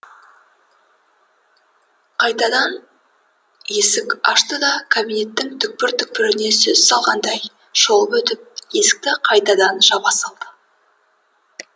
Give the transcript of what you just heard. қайтадан есік ашты да кабинеттің түкпір түкпіріне сөз салғандай шолып өтіп есікті қайтадан жаба салды